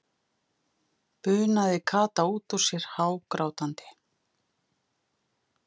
bunaði Kata út út sér hágrátandi.